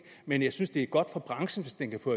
men jeg synes det er godt for branchen hvis den kan få